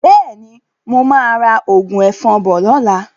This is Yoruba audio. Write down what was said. Bẹ́ẹ̀ni, mo máa ra òògùn ẹ̀fọn bọ̀ lọ́la.